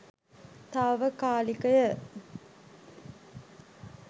තාවකාලිකය.